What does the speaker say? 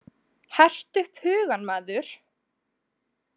Hertu upp hugann maður!